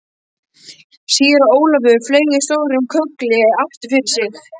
Síra Ólafur fleygði stórum köggli aftur fyrir sig.